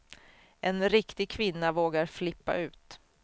En riktig kvinna vågar flippa ut.